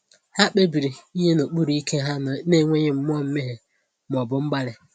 Ha kpebiri inye n’okpuru ike ha n’enweghị mmụọ mmehie ma ọ bụ mgbali.